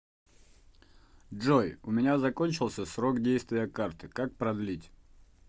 джой у меня закончился срок действия карты как продлить